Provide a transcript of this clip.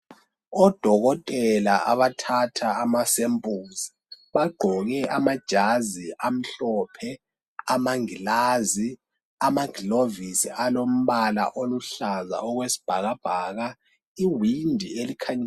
Odokotela abathatha ama samples bagqoke amajazi amhlophe, amangilazi, amagilovisi alombala oluhlaza okwesibhakabhaka.